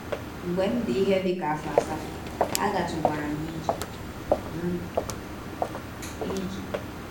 Mgbe m dị ihe dị ka afọ asatọ, agatụwara m ije. m ije.